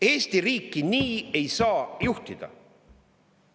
Eesti riiki nii ei saa juhtida!